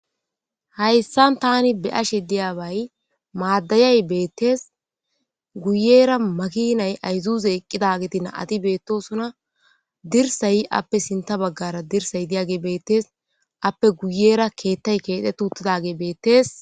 Hayssan tani be ashe diyabay maaddayay beettes guyera makinay ayzuze eqqidageti na'ati beettosuna dirsay appe sinta baggara dirsay diyage beettes appe guyera keettay keete tuttidage beettes